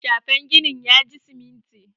shafen ginin ya ji siminti